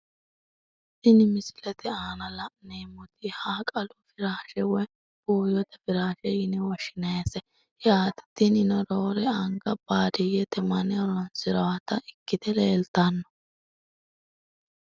Tini misilete aana laneemoti haqalu firaashe woyi buuyote firaashe yine woshinayise yaate tinino roore anga baadiyete mani horonsirawota ikite leltano.